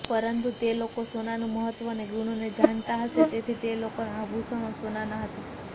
પરંતુ તે લોકો સોનાનું મહત્વ અને ગુણને જાણતા હશે તેથી તે લોકોના આભુષણો સોનાના હતા